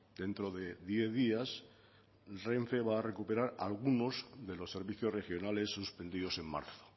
dentro de diez días renfe va a recuperar algunos de los servicios regionales suspendidos en marzo